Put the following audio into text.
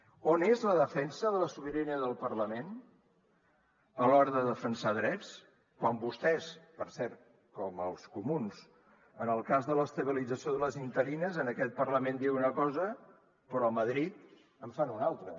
on és la defensa de la sobirania del parlament a l’hora de defensar drets quan vostès per cert com els comuns en el cas de l’estabilització de les interines en aquest parlament diuen una cosa però a madrid en fan una altra